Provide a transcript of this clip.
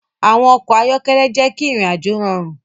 Awọn ọkọ ayọkẹlẹ jẹ ki irin-ajo rọrun